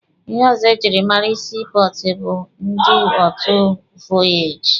Ihe ọzọ ejiri mara sii pọọtụ bụ ndị otu vọyaaji.